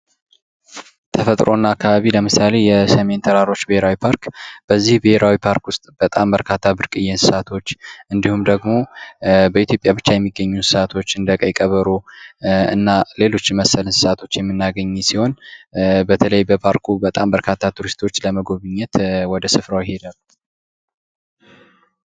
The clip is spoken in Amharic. ተፈጥሮ እና አካባቢ ለምሳሌ የሰሜን ተራሮች ብሄራዊ ፓርክ፤ በዚህ ብሄራዊ ፓርክ ውስጥ የተለያዩ ብርቅዬ እንሰሳት እንዲሁም ደሞ በኢትዮጵያ ብቻ የሚገኙ እንስሳቶች እንደ ቀይ ቀበሮ እና ሌሎች መሰል እንሰሳቶችን ምናገኝ ሲሆን በተለይ በፓርኩ በርካታ ቱሪስቶች ለመጎብኘት ወደ ስፍራው ይሄዳሉ።